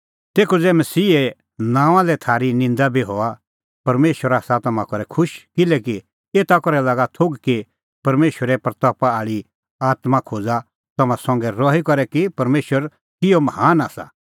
तेखअ ज़ै मसीहे नांओंआं लै थारी निंदा बी हआ परमेशर आसा तम्हां करै खुश किल्हैकि एता करै लागा थोघ कि परमेशरे महिमां आल़ी आत्मां खोज़ा तम्हां संघै रही करै कि परमेशर किहअ महान आसा